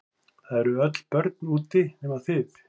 Það eru öll börn úti nema þið.